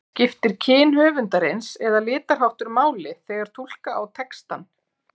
Skiptir kyn höfundarins eða litarháttur máli þegar túlka á textann?